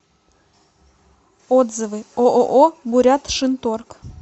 отзывы ооо бурятшинторг